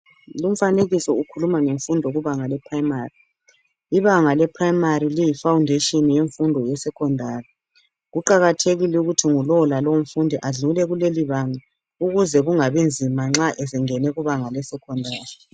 Lumfanekiso ukhuluma ngemfundo kubanga leprimary. Ibanga leprimary, liyifoundation, yemfundo yesecondary. Kuqakathekile ukuthi ngulowo lalowomfundi adlule kulelibanga, ukuze kungabinzima, nxa esengene kubanga lesecondary.